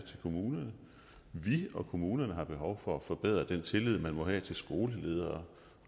kommunerne vi og kommunerne har behov for at forbedre den tillid man må have til skoleledere